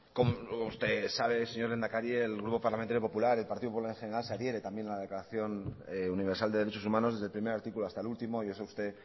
como usted lo sabe señor lehendakari el grupo parlamentario popular el partido popular en general se adhiere también a la declaración universal de derechos humanos desde el primer artículo hasta el último y eso usted